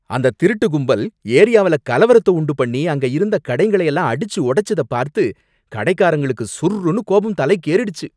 அந்த திருட்டு கும்பல் ஏரியாவுல கலவரத்த உண்டு பண்ணி அங்க இருந்த கடைங்கள எல்லாம் அடிச்சு உடைச்சத பார்த்து கடைக்காரங்களுக்கு சுர்ருன்னு கோபம் தலைக்கேறிடுச்சு.